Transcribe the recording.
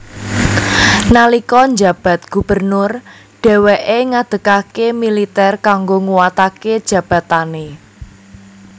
Nalika njabat gubernur dhèwèké ngadegaké militèr kanggo nguwataké jabatané